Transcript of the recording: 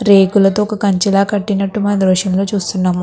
రేకులతో ఒక కంచిలా కట్టినట్టు మనం దృశ్యంలో చూస్తున్నాము.